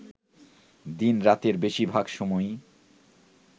দিন-রাতের বেশির ভাগ সময়ই